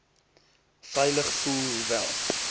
veilig voel hoewel